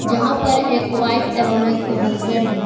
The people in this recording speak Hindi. जहां पर एक वाइफ एवं एक हसबैंड है।